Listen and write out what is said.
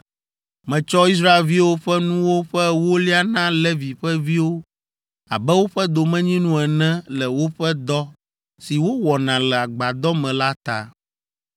“Metsɔ Israelviwo ƒe nuwo ƒe ewolia na Levi ƒe viwo abe woƒe domenyinu ene le woƒe dɔ si wowɔna le agbadɔ me la ta.